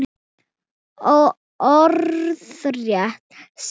Orðrétt segir hann